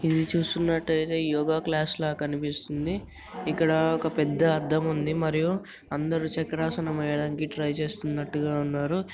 ఇది చూస్తున్నట్టుగా అయితే యోగ క్లాస్ లా కనిపిస్తుంది ఇక్కడ ఒక పెద్ద అద్దం ఉంది మరియు అందరూ చక్రాసనం వేయడానికి ట్రై చేస్తున్నట్టుగా ఉన్నారు .